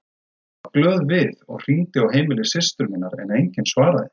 Ég varð glöð við og hringdi á heimili systur minnar en enginn svaraði.